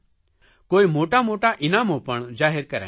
કોઇ મોટા મોટા ઇનામો પર જાહેર કરાયાં છે